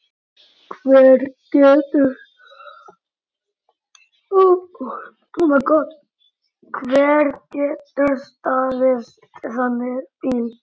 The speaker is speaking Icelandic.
Hver getur staðist þannig bíl?